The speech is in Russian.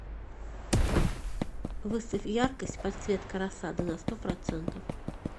выставь яркость подсветка рассады на сто процентов